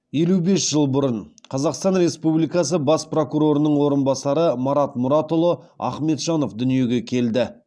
елу бес жыл бұрын қазақстан республикасы бас прокурорының орынбасары марат мұратұлы ахметжанов дүниеге келді